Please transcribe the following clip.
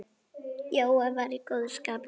Jói var í góðu skapi.